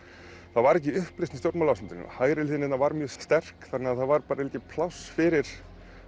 það var ekki uppreisn í stjórnmálaástandinu hægri hliðin hérna var mjög sterk þannig að það var bara ekki pláss fyrir